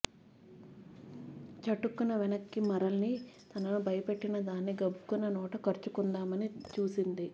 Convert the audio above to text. చటుక్కున వెనక్కి మరలి తనను భయపెట్టిన దాన్ని గబుక్కున నోట కరుచుకుందామని చూసింది